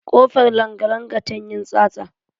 Ƙofar langalanga tan yin tsatsa.